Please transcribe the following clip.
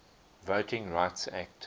voting rights act